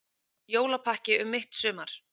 Jólapakki um mitt sumar